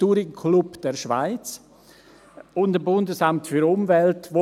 Touringclub der Schweiz – und dem Bundesamt für Umwelt (BAFU).